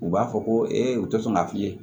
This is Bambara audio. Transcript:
U b'a fɔ ko u tɛ sɔn ka fi ye